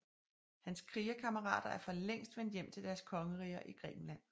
Hans krigerkammerater er for længst vendt hjem til deres kongeriger i Grækenland